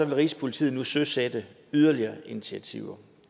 vil rigspolitiet nu søsætte yderligere initiativer